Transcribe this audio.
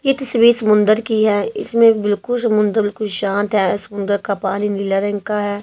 ये तस्वीर समुंदर की है इसमें बिल्कुल समुंद्र बिल्कुल शांत है समुंदर का पानी नीला रंग का है।